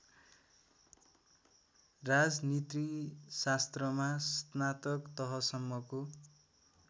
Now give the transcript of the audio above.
राजनीतिशास्त्रमा स्नातक तहसम्मको